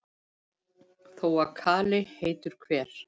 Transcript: Þó að kali heitur hver,